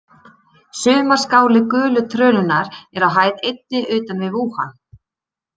Sumarskáli gulu trönunnar er á hæð einni utan við Vúhan.